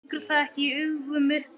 Liggur það ekki í augum uppi?